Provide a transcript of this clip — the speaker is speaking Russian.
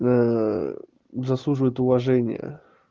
заслуживает уважения